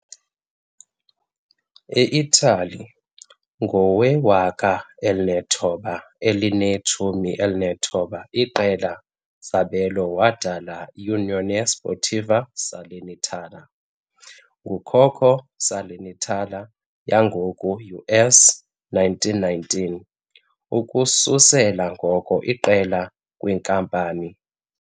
E Italy, ngowe-1919, iqela zabelo wadala Unione Sportiva Salernitana, ngukhokho Salernitana yangoku US 1919, ukususela ngoko iqela-kwinkampani.